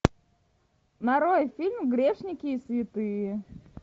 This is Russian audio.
нарой фильм грешники и святые